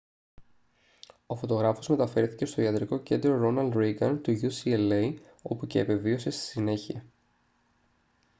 ο φωτογράφος μεταφέρθηκε στο ιατρικό κέντρο ρόναλντ ρήγκαν του ucla όπου και επεβίωσε στη συνέχεια